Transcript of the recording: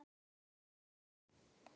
Það er tekið að hausta.